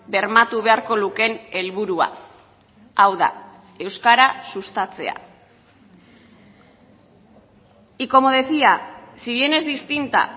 bermatu beharko lukeen helburua hau da euskara sustatzea y como decía si bien es distinta